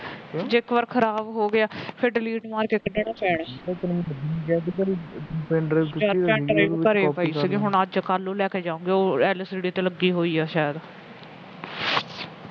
ਜੇ ਇਕ ਵਾਰ ਖਰਾਬ ਹੋ ਗਿਆ ਫਿਰ delete ਮਾਰ ਕੇ ਕੱਢਣਾ ਪੈਣੇ ਯਾਰ pendrive ਘਰੇ ਪਈ ਸੀਗੀ ਹੁਣ ਅੱਜ ਕੱਲ ਨੂੰ ਲੈ ਕੇ ਜਾਵਾਗੀ LCD ਤੇ ਲੱਗੀ ਪਈ ਸੀ